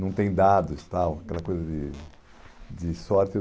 Não tem dados tal, aquela coisa de de sorte.